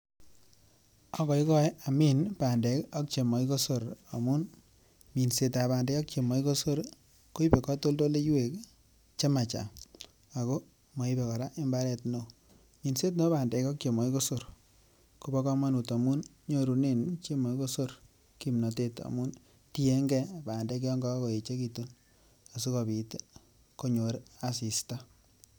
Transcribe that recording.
Agoigoe amin bandek ak chemokikosor amun minset ab bandek ak chemokikosor koibe kotoldoleywek chemachanga ako koraa moibe imbaren ne oo. Minset nebo bandek ak chemokikosor kobo komonut amun nyorunen chemokikosor kimnotet amun tienge bandek yon kokoechegitun asikopit konyor assista